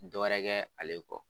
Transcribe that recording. Dɔ wɛrɛkɛ ale kɔ